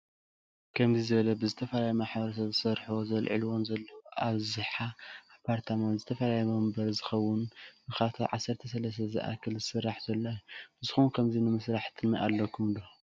ከምዚ ዝበለ ዝተፈላለዮ ማሕበረሰብ ዝሰርሕዎን ዘልምዕዎ ዘለው አብዝሐ አፓርታማ ንዝተፈላለዮ መንበር ዝከውን ንከባቢ ዓሰርተተ ሰለስተ ዝአክል ዝሰራሕ ዘሎ እዮ ። ንስኩም ከምዚ ንምሰራሕ ትልም አለኩም?